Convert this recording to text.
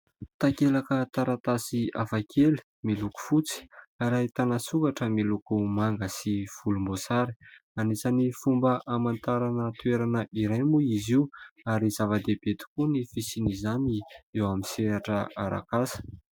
Takelaka taratasy hafakely miloko fotsy ary ahitana soratra miloko manga sy volom-boasary. Anisan'ny fomba hamantarana toerana iray moa izy io ary zava-dehibe tokoa ny fisian' izany eo amin'ny sehatra arak' asa.